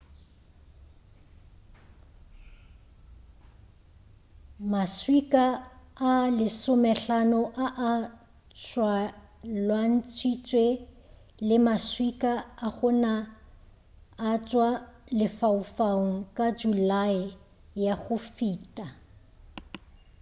maswika a lesomehlano a a tšwalwantšhitšwe le maswika a go na a tšwa lefaufaung ka julae ya go feta